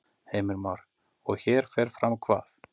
Heimir Már: Og hér fer fram hvað?